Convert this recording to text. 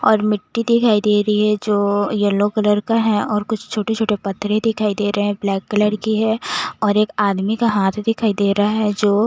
और मिट्टी दिखाई दे रही है जो येलो कलर का है और कुछ छोटे छोटे पत्रे दिखाई दे रहे है ब्लैक कलर की है और एक आदमी का हाथ दिखाई दे रहा है जो--